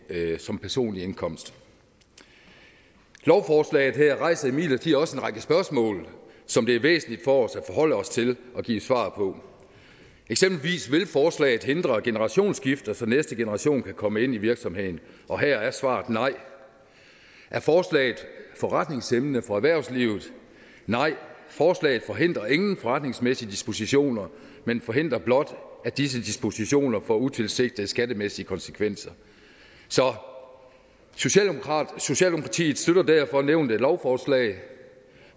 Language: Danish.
som personlig indkomst lovforslaget her rejser imidlertid også en række spørgsmål som det er væsentligt for os at forholde os til og give svar på eksempelvis vil forslaget hindre generationsskifter så næste generation kan komme ind i virksomheden og her er svaret nej er forslaget forretningshæmmende for erhvervslivet nej forslaget forhindrer ingen forretningsmæssige dispositioner men forhindrer blot at disse dispositioner får utilsigtede skattemæssige konsekvenser så socialdemokratiet støtter derfor nævnte lovforslag